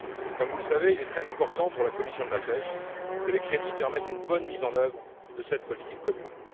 Comme vous le savez, il est très important pour la commission de la pêche que les crédits permettent une bonne mise en œuvre de cette politique commune.